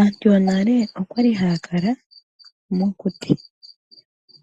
Aantu yonale okwali haya kala mokuti.